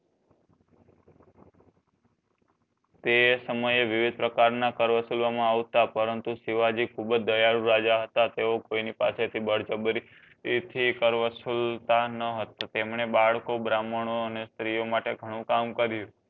તે સમયે વિવિધ પ્રકાર ના આવતા પરંતુ શિવજી ખુબજ દયાળુ રાજા હતા તેઓ કોઈ ની પાસે થી બડજબરી એ થી કર્વ ન હતા તમને બડકું બ્રહ્માનો સ્ત્રી માટે ઘણું કામ કર્યું